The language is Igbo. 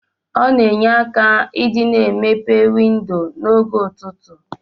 Ọna enye aka idi na emepe windo na og ụtụtụ.